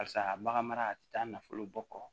Barisa bagan mara tɛ taa nafolo bɔ kɔ